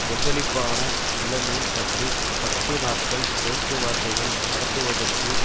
கொந்தளிப்பான நிலைமை பற்றி பத்து நாட்கள் பேச்சு வார்த்தைகள் நடத்துவதற்கு